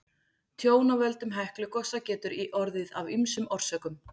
Tjón af völdum Heklugosa getur orðið af ýmsum orsökum.